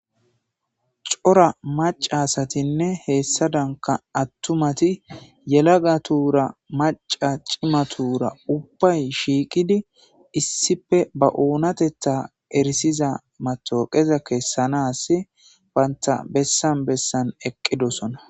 cora maca asatinne heessadanka attumati yelaga tuura maca cimatuura ubbay shiiqidi issife ba oonatetta erisiza matoqeza keessanas banta bessan bessan eqqidosona